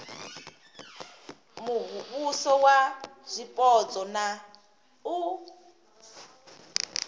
muvhuso wa zwipotso na u